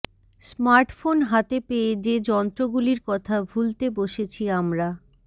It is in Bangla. স্মার্টফোন হাতে পেয়ে যে যন্ত্রগুলির কথা ভুলতে বসেছি আমরা